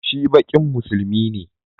Shi Bankin Musulunci ne